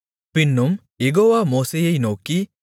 பின்னும் யெகோவா மோசேயை நோக்கி